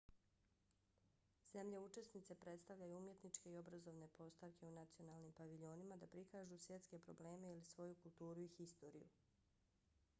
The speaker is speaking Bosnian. zemlje učesnice predstavljaju umjetničke i obrazovne postavke u nacionalnim paviljonima da prikažu svjetske probleme ili svoju kulturu i historiju